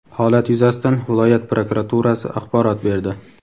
Holat yuzasidan viloyat prokuraturasi axborot berdi.